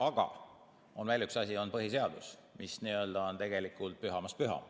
Aga on veel üks asi: põhiseadus, mis on tegelikult pühamast püham.